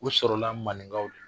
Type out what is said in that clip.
U sɔrɔla maninkaw